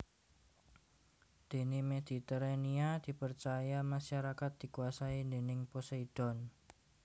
Dene Mediterania dipercaya masyarakat dikuasai déning Poseidon